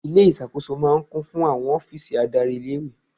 Ilé ìṣàkóso máa ń kún fún àwọn ọ́fíìsì adárí ilé-ìwé.